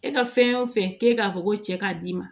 E ka fɛn o fɛn k'e k'a fɔ ko cɛ k'a d'i ma